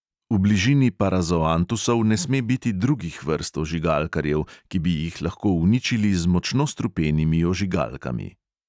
V bližini parazoantusov ne sme biti drugih vrst ožigalkarjev, ki bi jih lahko uničili z močno strupenimi ožigalkami.